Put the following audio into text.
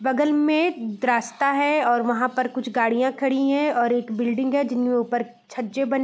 बगल में द एक रास्ता है और वहाँ पर कुछ गाड़ियां खड़ी है और एक बिल्डिंग है जिनके ऊपर छज्जे बने --